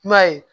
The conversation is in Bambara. I m'a ye